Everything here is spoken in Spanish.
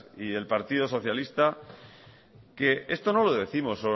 y el partido socialista que esto no lo décimos solo